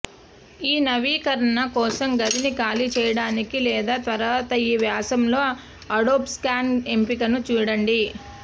ఈ నవీకరణ కోసం గదిని ఖాళీ చేయడానికి లేదా తర్వాత ఈ వ్యాసంలో అడోబ్ స్కాన్ ఎంపికను చూడండి